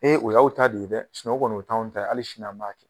o y'aw ta de ye dɛ o kɔnɔ o t'anw ta ye, hali sini an b'a kɛ